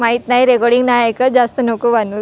माहित नाही नाही ऐकत जास्त नको बानूस.